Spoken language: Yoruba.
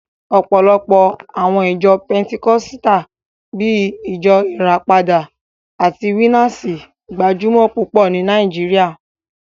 Ọ̀pọ̀lọpọ̀ àwọn ìjọ pẹtikọ́sítà bíi Ìjọ Ìràpadà àti Winners gbajúmọ̀ púpọ̀ ní Nàìjíríà